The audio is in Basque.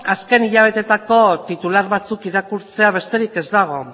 azken hilabeteetako titular batzuk irakurtzea besterik ez dago